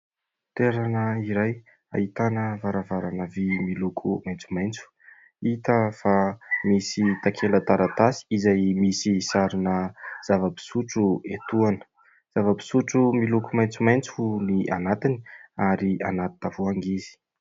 Toerana iray ahitana varavarana vy miloko maintsomaintso hita fa misy takela taratasy izay misy sarina zavam-pisotro etoana, zava-pisotro miloko maintsomaintso ny anatiny ary anaty tavoahangy izy.